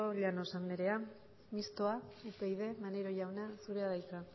llanos anderea mistoa upyd maneiro jauna zurea da hitza